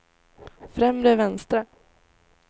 främre vänstra